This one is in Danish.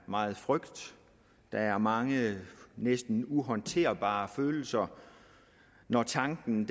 meget frygt at der er mange næsten uhåndterbare følelser når tanken